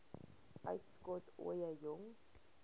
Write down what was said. uitskot ooie jong